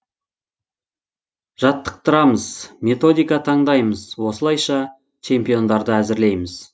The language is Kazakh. жаттықтырамыз методика таңдаймыз осылайша чемпиондарды әзірлейміз